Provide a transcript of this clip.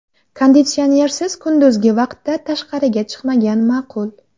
Konditsionersiz kunduzgi vaqtda tashqariga chiqmagan ma’qul.